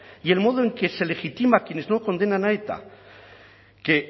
y el modo en que se legitima a quienes no condenan a eta que